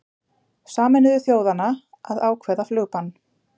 Sameinuðu þjóðanna að ákveða flugbann